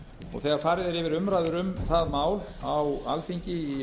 og þegar farið er yfir umræður um það mál á alþingi í